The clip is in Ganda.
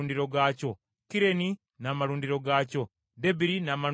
Kireni n’amalundiro gaakyo, Debiri n’amalundiro gaakyo,